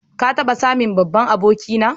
Ka taba same babban aboki na?